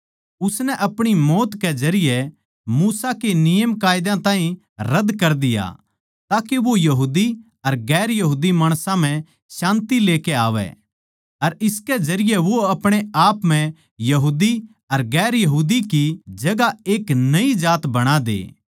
उसनै अपणी मौत के जरिये मूसा के नियमकायदा ताहीं रद कर दिया ताके वो यहूदी अर गैर यहूदी माणसां म्ह शान्ति लेकै आवै अर इसके जरिये वो अपणे आप म्ह यहूदी अर गैर यहूदी की जगहां एक नई जात बणा दे